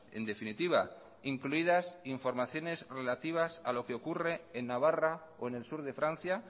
en definitiva incluidas informaciones relativas a lo que ocurre en navarra o en el sur de francia